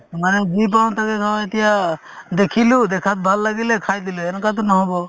মানে যি পাওঁ তাকে খাওঁ এতিয়া দেখিলো দেখাত ভাল লাগিলে খাই দিলে এনেকুৱাতো নহ'ব